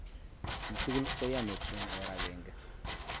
Chii tugul ko ya metit eng' or agenge